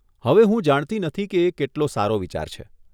હવે હું જાણતી નથી કે એ કેટલો સારો વિચાર છે.